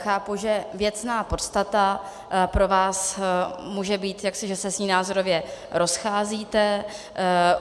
Chápu, že věcná podstata pro vás může být jaksi, že se s ní názorově rozcházíte.